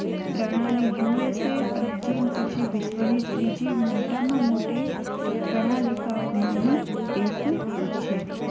પ્રણાલી USA અને ચીન પછી વિશ્વ ની મોટા માં મોટી પ્રણાલિકા ઓ માની એક છે